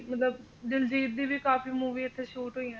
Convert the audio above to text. ਤੇ ਉਹ ਵੀ ਮਤਲਬ ਦਲਜੀਤ ਦੀ ਵੀ ਕਾਫੀ movie ਇੱਥੇ shoot ਹੋਈਆਂ ਨੇ